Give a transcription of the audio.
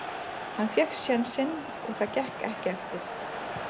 Hann fékk sénsinn og það gekk ekki eftir.